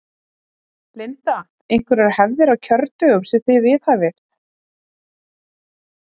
Linda: Einhverjar hefðir á kjördögum sem að þið viðhafið?